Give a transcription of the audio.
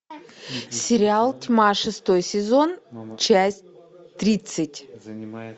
сериал тьма шестой сезон часть тридцать